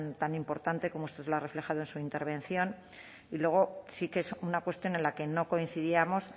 tan importante como usted lo ha reflejado en su intervención y luego sí que es una cuestión en la que no coincidíamos